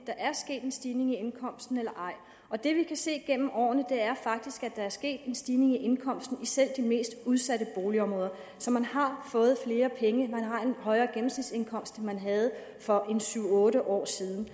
der er sket en stigning i indkomsten eller ej og det vi kan se igennem årene er sket en stigning i indkomsten i selv de mest udsatte boligområder så man har fået flere penge man har en højere gennemsnitsindkomst end man havde for syv otte år siden i